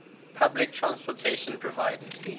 public transportation provided